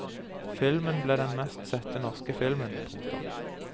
Filmen ble den mest sette norske filmen. punktum